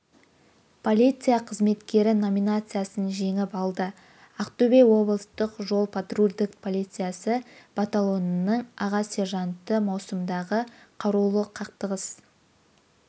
полиция қызметкері номинациясын жеңіп алды ақтөбе облыстық жол-патрульдік полициясы батальонының аға сержанты маусымдағы қарулы қақтығыс